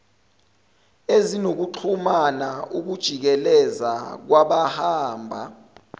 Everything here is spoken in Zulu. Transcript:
ezinokuxhumana ukujikeleza kwabahamba